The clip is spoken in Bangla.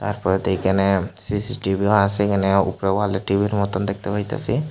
তারপরেতো এখানে সিসিটিভিও আসে এখানে উপরে ওয়ালে টিভির মতোন দেখতে পাইতাসি।